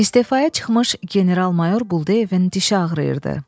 İstefaya çıxmış general-mayor Buldeyevin dişi ağrıyırdı.